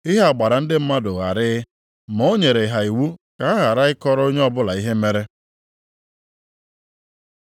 Ihe a gbara ndị mụrụ ya gharịị ma ọ nyere ha iwu ka ha ghara ịkọrọ onye ọbụla ihe mere.